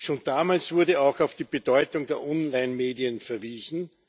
Schon damals wurde auch auf die Bedeutung der Onlinemedien verwiesen.